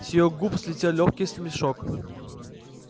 с его губ слетел лёгкий смешок